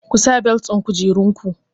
Ku sa belet ɗin kujerun ku!